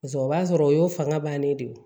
o b'a sɔrɔ o y'o fanga bannen de ye